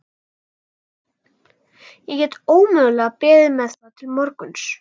Ég get ómögulega beðið með það til morguns.